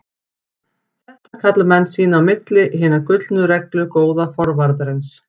Þetta kalla menn sín á milli Hina gullnu reglu góða forvarðarins.